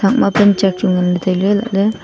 thakma panchak chu nganley tailey elahley.